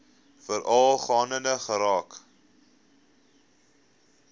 veral gaande geraak